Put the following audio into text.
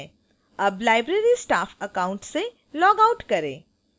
अब library staff account से log out करें